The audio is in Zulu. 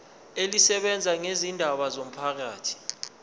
elisebenza ngezindaba zomphakathi